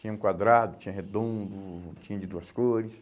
Tinha um quadrado, tinha redondo, tinha de duas cores.